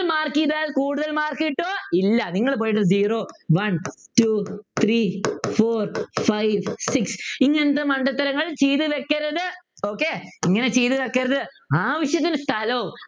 തൽ Mark ചെയ്താൽ കൂടുതൽ Mark കിട്ടും ഇല്ല നിങ്ങൾ പോയിട്ട് Zero One Two Three Four five six ഇങ്ങനത്തെ മണ്ടത്തരങ്ങൾ ചെയ്തു വയ്ക്കരുത് okay ഇങ്ങനെ ചെയ്തു വയ്ക്കരുത് ആവശ്യത്തിന് സ്ഥലവും